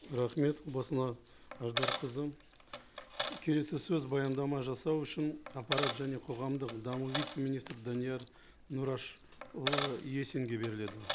рахмет келесі сөз баяндама жасау үшін аппарат және қоғамдық даму вице министрі данияр нұрашұлы есинге беріледі